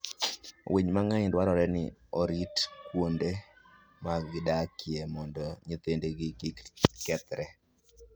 Winy mang'eny dwarore ni orit kuonde ma gidakie mondo nyithindgi kik kethre.